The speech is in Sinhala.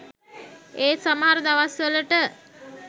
ඒත් සමහර දවස්වලට